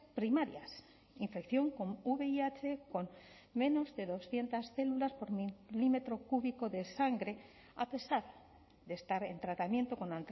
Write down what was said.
primarias infección con vih con menos de doscientos células por milímetro cúbico de sangre a pesar de estar en tratamiento con